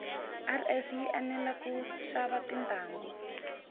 rs yi enela kushava tintangu